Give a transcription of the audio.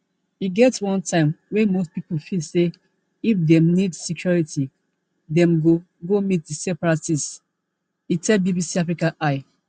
e get one time wey most pipo feel say if dem need security dem go go meet di separatists e tell bbc africa eye